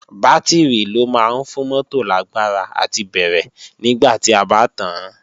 Bátìrì ló máa ń fún mótò lágbára àti bẹ̀rẹ̀ nígbà tí a bá tàán